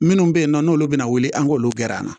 Minnu bɛ yen nɔ n'olu bɛna wuli an k'olu gɛrɛ an na